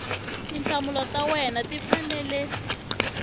tinhlamulo ta wena ti fanele